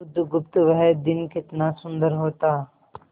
बुधगुप्त वह दिन कितना सुंदर होता